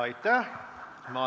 Aitäh!